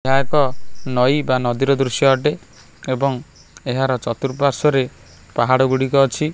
ଏହା ଏକ ନଈ ବା ନଦୀ ର ଦୃଶ୍ୟ ଅଟେ ଏଵଂ ଏହାର ଚତୁର୍ ପାଶ୍ୱରେ ପାହାଡ ଗୁଡ଼ିକ ଅଛି।